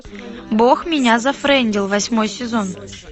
бог меня зафрендил восьмой сезон